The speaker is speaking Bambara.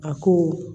A ko